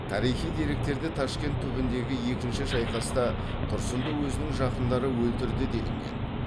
тарихи деректерде ташкент түбіндегі екінші шайқаста тұрсынды өзінің жақындары өлтірді делінген